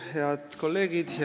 Head kolleegid!